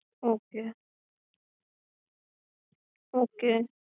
એ બન્દ કરી દેશે. આ બહુ સરળ અને